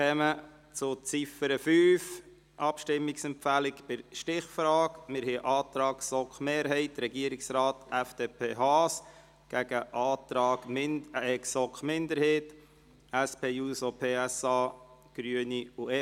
5 Werden sowohl der Volksvorschlag als auch die Vorlage des Grossen Rates vom 29. März 2018 in der Volksabstimmung angenommen, empfiehlt der Grosse Rat bei der Stichfrage der Grossratsvorlage den Vorzug zu geben.